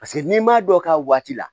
Paseke n'i m'a dɔn k'a waati la